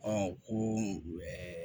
ko